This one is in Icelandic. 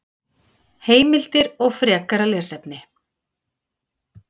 Heimildir og frekara lesefni